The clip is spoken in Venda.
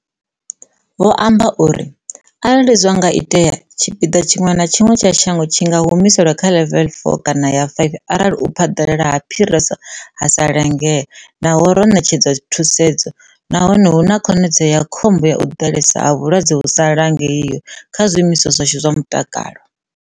Vho amba uri, Arali zwa nga itea, tshipiḓa tshiṅwe na tshiṅwe tsha shango tshi nga humiselwa kha ḽevele ya 4 kana ya 5 arali u phaḓalala ha phiriso ha sa langea naho ro ṋetshedza thusedzo nahone hu na khonadzeo ya khombo ya u ḓalesa ha vhalwadze hu sa langeiho kha zwiimiswa zwashu zwa mutakalo.